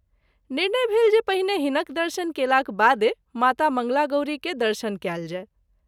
निर्णय भेल जे पहिने हिनक दर्शन केलाक बादे माता मंगलागौरी के दर्शन कएल जाय।